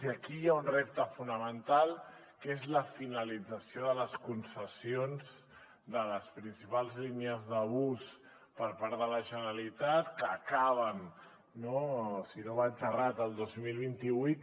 i aquí hi ha un repte fonamental que és la finalització de les concessions de les principals línies de bus per part de la generalitat que acaben si no vaig errat el dos mil vint vuit